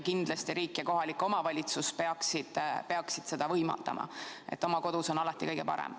Kindlasti riik ja kohalik omavalitsus peaksid seda võimaldama, sest oma kodus on alati kõige parem.